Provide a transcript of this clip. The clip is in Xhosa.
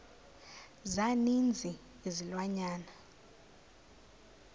za ninzi izilwanyana